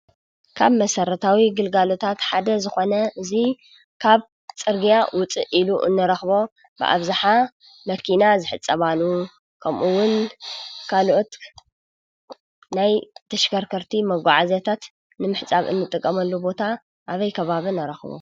ካብ መሰረታዊ ግልጋሎታት ሓደ ዝኾነ እዚ ካብ ፅርግያ ውፅእ ኢሉ እንረከቦ ብኣብዝሓ መኪና ዝሕፀባሉ ከምኡ እውን ካልኦት ናይ ተሽከርከርቲ መጓዓዝያታት ንመሕፀቢ እንቀመሉ ቦታ ኣበይ ከባቢ ንረክቦ?